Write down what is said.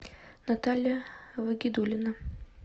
наталья вагидулина